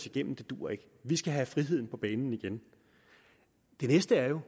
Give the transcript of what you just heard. igennem det duer ikke vi skal have friheden på banen igen det næste er jo